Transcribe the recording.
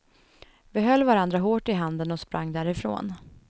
Vi höll varandra hårt i handen och sprang därifrån.